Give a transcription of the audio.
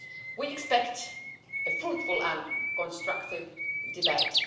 We expect a fruitful and constructive debate.